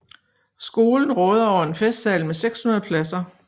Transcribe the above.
Skolen råder over en festsal med 600 pladser